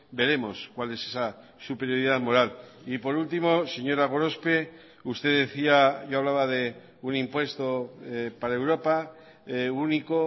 veremos cuál es esa superioridad moral y por último señora gorospe usted decía y hablaba de un impuesto para europa único